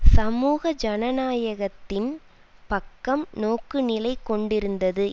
சமூக ஜனநாயகத்தின் பக்கம் நோக்குநிலை கொண்டிருந்தது